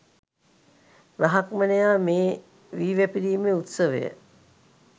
බ්‍රාහ්මණයා මේ වී වැපිරීමේ උත්සවය